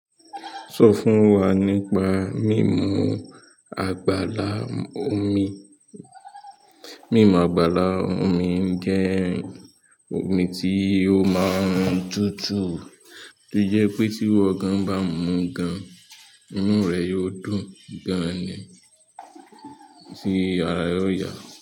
Sọ fún wa nípa mímu àgbàlá omi. Mímu àgbàlá omi jẹ́ omi tí ó máa ń tútù, tó jẹ́ pé tí iwo gán bá mu gan-an, imú rẹ̀ yóò dùn gan-an tí ara yóò yà.